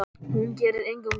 Hún gerir engum gott.